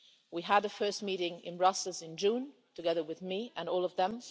We had the first meeting in Brussels in June, together with me and all of them.